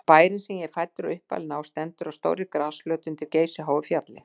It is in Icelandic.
Bærinn, sem ég er fæddur og uppalinn á, stendur á stórri grasflöt undir geysiháu fjalli.